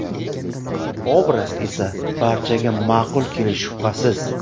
Obraz esa barchaga ma’qul kelishi shubhasiz.